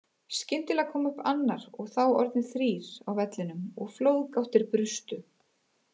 Skyndilega kom annar og þá orðnir þrír á vellinum og flóðgáttir brustu.